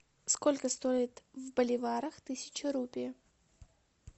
сколько стоит в боливарах тысяча рупий